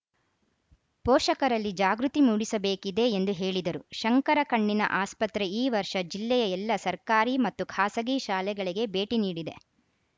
ಪೋಷಕರಲ್ಲಿ ಜಾಗೃತಿ ಮೂಡಿಸಬೇಕಿದೆ ಎಂದು ಹೇಳಿದರು ಶಂಕರ ಕಣ್ಣಿನ ಆಸ್ಪತ್ರೆ ಈ ವರ್ಷ ಜಿಲ್ಲೆಯ ಎಲ್ಲ ಸರ್ಕಾರಿ ಮತ್ತು ಖಾಸಗಿ ಶಾಲೆಗಳಿಗೆ ಭೇಟಿ ನೀಡಿದೆ